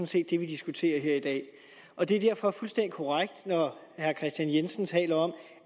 set det vi diskuterer her i dag og det er derfor fuldstændig korrekt når herre kristian jensen taler om